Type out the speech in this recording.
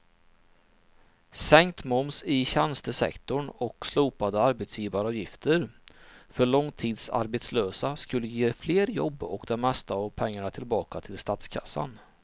Sänkt moms i tjänstesektorn och slopade arbetsgivaravgifter för långtidsarbetslösa skulle ge fler jobb och det mesta av pengarna tillbaka till statskassan.